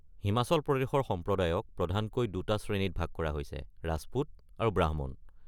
হিমাচল প্ৰদেশৰ সম্প্ৰদায়ক প্ৰধানকৈ দুটা শ্ৰেণীত ভাগ কৰা হৈছে: ৰাজপুত আৰু ব্ৰাহ্মণ।